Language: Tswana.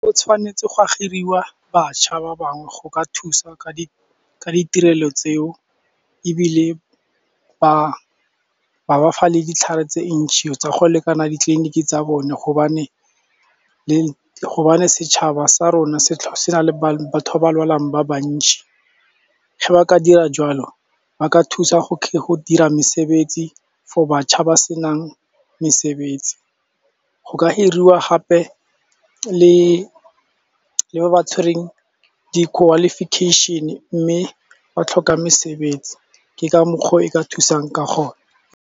Go tshwanetse go giriwa batšha ba bangwe go ka thusa ka di ka ditirelo tseo ebile ba fa le ditlhare tse ntšhi tsa go lekana ditleliniki tsa bone gobane setšhaba sa rona se na le batho ba ba lwalang ba bantšhi ge ba ka dira jwalo ba ka thusa go ka go dira mesebetsi for batšha ba senang mesebetsi, go ka hiriwa gape le le ba ba tshwereng di-qualification-e mme ba tlhoka mesebetsi ke ka mokgwa o e ka thusang ka gone.